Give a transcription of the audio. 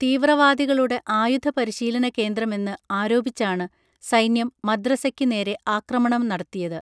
തീവ്രവാദികളുടെ ആയുധ പരിശീലനകേന്ദ്രമെന്ന് ആരോപിച്ചാണ് സൈന്യം മദ്രസയ്ക്കു നേരെ ആക്രമണം നടത്തിയത്